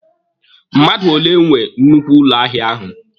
Mmadụ ole nwe nnukwu ụlọ ahịa ahụ?